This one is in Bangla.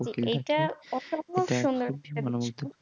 এটা অসম্ভব সুন্দর একটি দৃশ্য